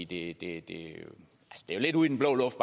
det er jo lidt ud i den blå luft